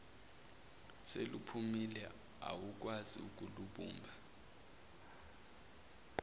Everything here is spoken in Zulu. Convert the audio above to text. seluphukile awukwazi ukulubumba